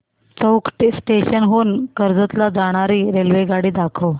चौक station हून कर्जत ला जाणारी रेल्वेगाडी दाखव